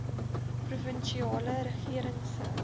provinsiale regering se